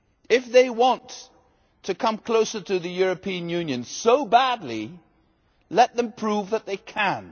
If they want to come closer to the European Union so badly, let them prove that they can.